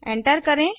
enter करें